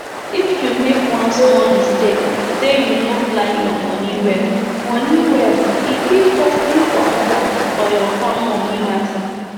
if u make one small mistake say u no plan ur money well money well e fit cause big wahala for ur farm money matter